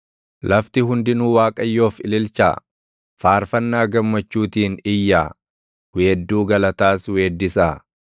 Lafti hundinuu Waaqayyoof ililchaa; faarfannaa gammachuutiin iyyaa; weedduu galataas weeddisaa;